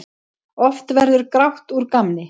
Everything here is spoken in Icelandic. Oft verður grátt úr gamni.